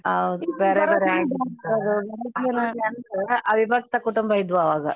ಹೌದ್ ಅವಿಬಕ್ತ ಕುಟುಂಬ ಇದ್ವು ಅವಾಗ.